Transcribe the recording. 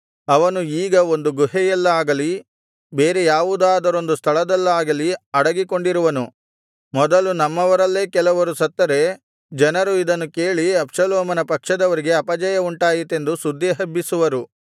ಅವನು ಈಗ ಒಂದು ಗುಹೆಯಲ್ಲಾಗಲಿ ಬೇರೆ ಯಾವುದಾದರೊಂದು ಸ್ಥಳದಲ್ಲಾಗಲಿ ಅಡಗಿಕೊಂಡಿರುವನು ಮೊದಲು ನಮ್ಮವರಲ್ಲೇ ಕೆಲವರು ಸತ್ತರೆ ಜನರು ಇದನ್ನು ಕೇಳಿ ಅಬ್ಷಾಲೋಮನ ಪಕ್ಷದವರಿಗೆ ಅಪಜಯವುಂಟಾಯಿತೆಂದು ಸುದ್ದಿ ಹಬ್ಬಿಸುವರು